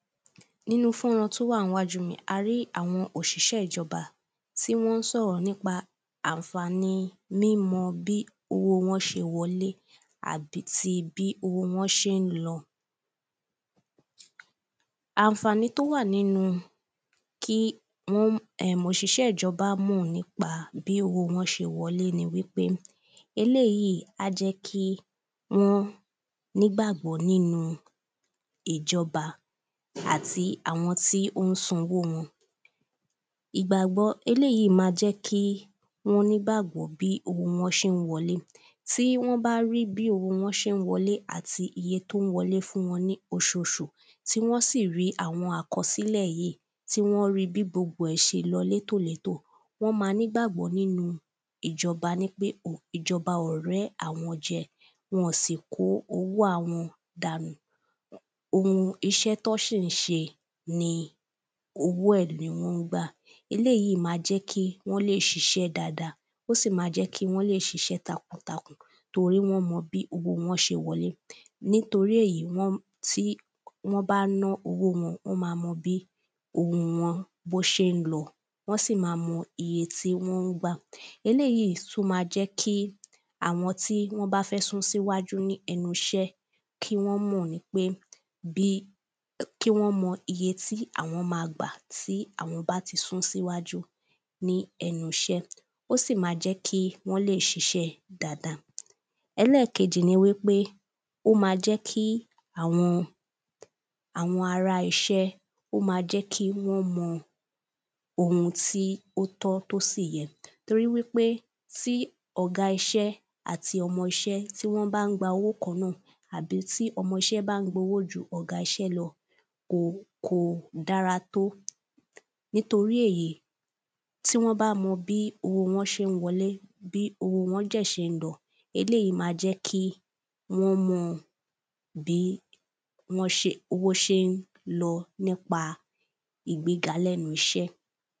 Nínú fọ́nrán tó wà níwájú mi yìí a rí àwọn òṣìṣẹ́ ìjọba tí wọ́n ń sọ̀rọ̀ nípa ànfàní mímọ bí owó wọn ṣe ń wọlé àbí ti bí owó wọn ṣé ń lọ. Ànfàní tó wà nínú kí um òṣìṣẹ́ ìjọba mọ̀ nípa bí owó wọn ṣe wọlé ni wípé eléèyí á jẹ́ kí wọ́n nígbàgbọ́ nínú ìjọba àti àwọn tí ó ń san owó wọn. ìgbàgbọ́ eléèyí á jẹ́ kí wọ́n nígbàgbọ́ nínú bí owó wọn ṣe wọlé tí wọ́n bá rí bí owó wọn ṣe ń wọlé àti iye tó ń wọlé lóṣoṣù tí wọ́n sì rí àwọn àkọsílẹ̀ yìí tí wọ́n rí bí gbogbo ẹ̀ ṣe lọ létò létò wọ́n má nígbàgbọ́ nínú ìjọba wípé ìjọba ọ̀rẹ́ àwọn ló jẹ́ wọn ò sì kó owó àwọn dànù. Ohun iṣẹ́ tán sì ń ṣe owó ẹ̀ ni wọ́n ń gbà eléèyí má jẹ́ kí wọ́n lè ṣiṣẹ́ dáada ó sì má jẹ́ kí wọ́n lè ṣiṣẹ́ takun takun torí wọ́n mọ bí owó wọn ṣe wọlé. Nítorí èyí wọ́n tí wọ́n bá ná owó wọn wọ́n má mọ bí owó wọn bó ṣé ń lọ wọ́n sì má mọ iye tí wọ́n ń gbà. eléèyí tún má jẹ́ kí àwọn tí wọ́n bá fẹ́ sún síwájú lẹ́nu iṣẹ́ kí wọ́n mọ nípé kí wọ́n mọ iye tí àwọn má gbà tí àwọn bá ti sún síwájú ní ẹnu iṣẹ́. Ó sì má jẹ́ kí wọ́n lè ṣiṣẹ́ dáada. Ẹlẹ́kejì ni wípé ó má jẹ́ kí àwọn àwọn ará iṣẹ́ ó má jẹ́ kí wọ́n mọ ohun tí ó tọ́ tó sì yẹ toríwípé tí ọ̀gá iṣẹ́ àti ọmọ iṣẹ́ tí wọ́n bá ń gba owó kan náà àbí tí ọmọṣẹ́ bá ń gbowó ju ọ̀gá iṣẹ́ lọ kò kò dára tó. Nítorí èyí tí wọ́n bá mọ bí owó wọn ṣé ń wọlé bí owó wọn dẹ̀ ṣé ń lọ eléèyí má jẹ́ kí wọ́n mọ bí wọ́n ṣé ń bí owó ṣé ń lọ nípa ìgbéga lẹ́nu iṣẹ́.